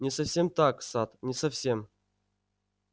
не совсем так сатт не совсем